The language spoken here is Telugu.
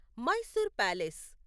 మైసూర్ ప్యాలెస్